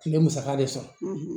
Tile musaka de sɔrɔ